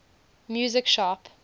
music sharp